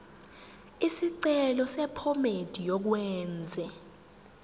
isicelo sephomedi yokwenze